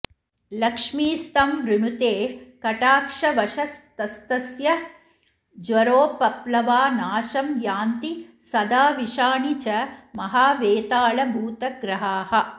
लक्ष्मीस्तं वृणुते कटाक्षवशतस्तस्य ज्वरोपप्लवा नाशं यान्ति सदा विषाणि च महावेतालभूतग्रहाः